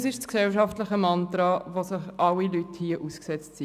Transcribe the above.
» Dies ist das gesellschaftliche Mantra, dem hier alle Leute ausgesetzt sind.